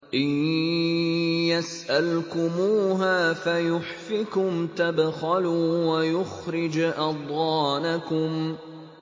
إِن يَسْأَلْكُمُوهَا فَيُحْفِكُمْ تَبْخَلُوا وَيُخْرِجْ أَضْغَانَكُمْ